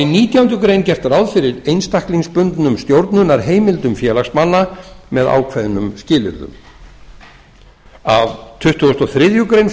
nítjánda grein gert ráð fyrir einstaklingsbundnum stjórnunarheimildum félagsmanna með ákveðnum skilyrðum af tuttugustu og þriðju greinar